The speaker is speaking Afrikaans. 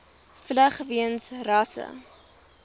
vlug weens rasse